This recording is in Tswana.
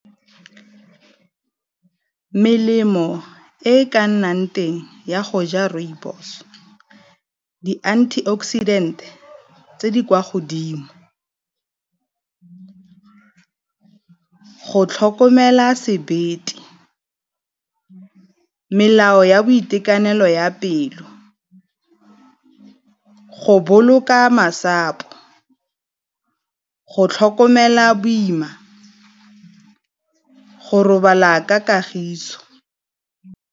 Melemo e ka nnang teng ya go ja rooibos di-antioxidant tse di kwa godimo, go tlhokomela sebete, melao ya boitekanelo ya pelo, go boloka masapo, go tlhokomela boima, go robala ka kagiso.